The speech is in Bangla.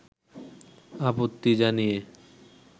আপত্তি জানিয়ে